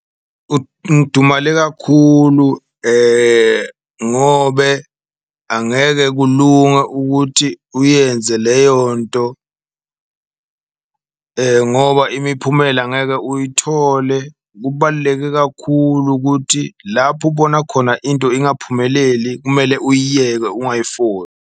Ngidumale kakhulu ngobe angeke kulunge ukuthi uyenze leyo nto ngoba imiphumela angeke uyithole, kubaluleke kakhulu ukuthi lapho ubona khona into ingaphumeleli kumele uyiyeke .